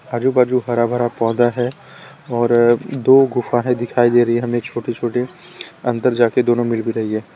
आजू बाजू हरा भरा पौधा है और दो गुफा है दिखाई दे रही हमें छोटी छोटी अंदर जाके दोनों मिल भी रही है।